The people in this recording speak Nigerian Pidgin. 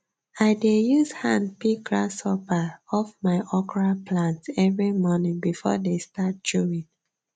i dey use hand pick grasshoppers off my okra plants every morning before they start chewing